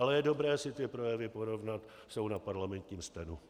Ale je dobré si ty projevy porovnat, jsou na parlamentním stenu.